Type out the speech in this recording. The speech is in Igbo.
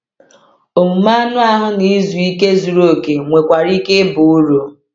Omume anụ ahụ na izu ike zuru oke nwekwara ike ịba uru.